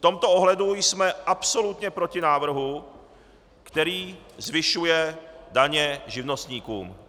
V tomto ohledu jsme absolutně proti návrhu, který zvyšuje daně živnostníkům.